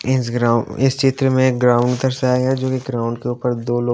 इस ग्राउं इस चित्र में एक ग्राउंड दर्शाया है जो की ग्राउंड के ऊपर दो लोग --